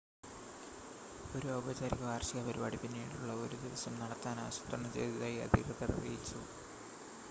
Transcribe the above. ഒരു ഔപചാരിക വാർഷിക പരിപാടി പിന്നീടുള്ള ഒരു ദിവസം നടത്താൻ ആസൂത്രണം ചെയ്‌തതായി അധികൃതർ അറിയിച്ചു